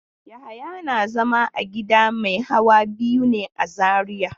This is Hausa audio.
Yahaya na zama a gida mai hawa biyu ne a Zariya.